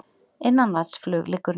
Innanlandsflug liggur niðri